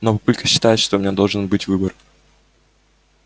но папулька считает что у меня должен быть выбор